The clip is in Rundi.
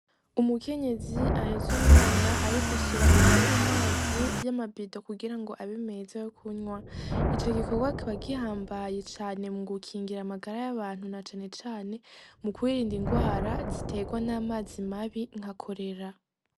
Umukenyezi ahetse umwana ariko ashira umuti m'umazi y'amabido kugira abe meza yo kunwa ico gikorwa kikaba gihambaye mugukingira amagara y'abantu na cane cane mukwirinda ingwara ziterwa n'amazi mabi nka cholera.